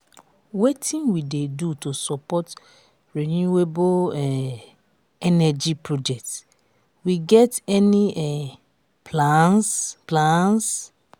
wetin we dey do to support renewable um energy projects we get any um plans? plans?